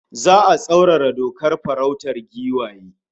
Za'a tsaurara dokar farautar giwaye